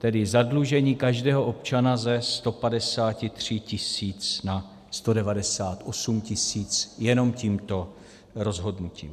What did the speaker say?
Tedy zadlužení každého občana ze 153 tisíc na 198 tisíc jenom tímto rozhodnutím.